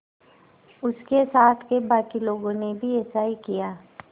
उसके साथ के बाकी लोगों ने भी ऐसा ही किया